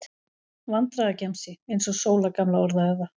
Vandræðagemsi, eins og Sóla gamla orðaði það.